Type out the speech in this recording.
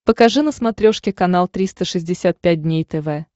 покажи на смотрешке канал триста шестьдесят пять дней тв